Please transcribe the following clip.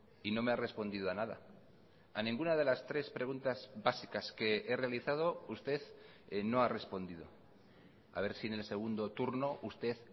y no me ha respondido a nada a ninguna de las tres preguntas básicas que he realizado usted no ha respondido a ver si en el segundo turno usted